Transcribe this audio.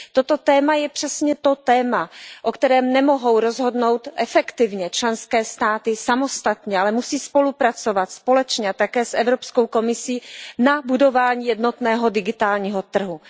Toto téma je přesně to téma, o kterém nemohou rozhodnout efektivně členské státy samostatně, ale musí spolupracovat společně také s Evropskou komisí na budování jednotného digitálního trhu.